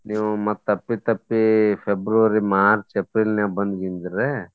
ನೀವು ಮತ್ತ್ ಅಪ್ಪಿ ತಪ್ಪಿ February, March, April ನ್ಯಾಗ್ ಬಂದ್ ಗಿಂದ್ರೆ.